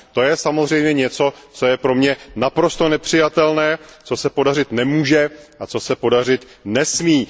To je samozřejmě něco, co je pro mě naprosto nepřijatelné, co se podařit nemůže a co se podařit nesmí.